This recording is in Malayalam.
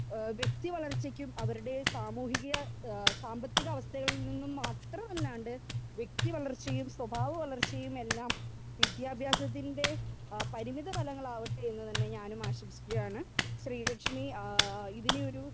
സ്പീക്കർ 2 ഏഹ് വെക്തി വളർച്ചക്കും അവരുടെ സാമൂഹിക ഏഹ് സാമ്പത്തിക അസ്ഥയിൽ നിന്നും മാത്രമലാണ്ട് വെക്തി വളർച്ചയും സ്വഭാവ വളർച്ചയുമെല്ലാം വിദ്യാഭ്യാസത്തിന്റെ ആ പരിമിധി പലവങ്ങളാവട്ടെ എന്ന് തന്നെ ഞാനും ആശംസിക്കുകയാണ് ശ്രീലക്ഷ്മി ഏഹ് ഇതിനെയൊരു